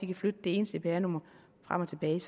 kan flytte det ene cpr nummer frem og tilbage